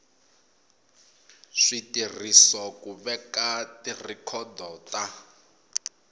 switirhiso ku veka tirhikhodo ta